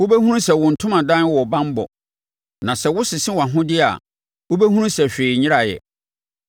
Wobɛhunu sɛ wo ntomadan wɔ banbɔ; na sɛ wosese wʼahodeɛ a, wobɛhunu sɛ hwee nyeraeɛ.